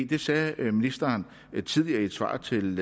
det sagde ministeren tidligere i et svar til